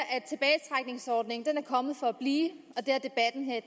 kommet for blive og